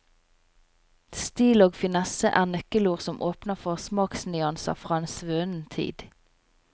Stil og finesse er nøkkelord som åpner for smaksnyanser fra en svunnen tid.